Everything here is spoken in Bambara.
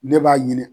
Ne b'a ɲini